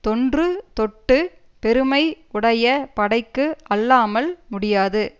தொன்றுதொட்டுப் பெருமை உடைய படைக்கு அல்லாமல் முடியாது